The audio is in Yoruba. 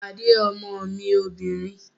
Pàdé ọmọ mi obìnrin!